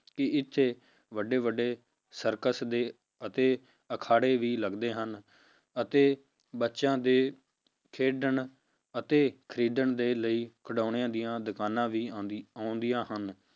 ਕਿ ਇੱਥੇ ਵੱਡੇ ਵੱਡੇ circus ਦੇ ਅਤੇ ਅਖਾੜੇ ਵੀ ਲੱਗਦੇ ਹਨ, ਅਤੇ ਬੱਚਿਆਂ ਦੇ ਖੇਡਣ ਅਤੇ ਖੇਡਣ ਦੇ ਲਈ ਖਿਡਾਉਣਿਆਂ ਦੀਆਂ ਦੁਕਾਨਾਂ ਵੀ ਆਉਂਦੀ ਆਉਂਦੀਆਂ ਹਨ,